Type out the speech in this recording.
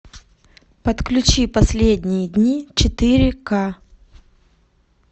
подключи последние дни четыре ка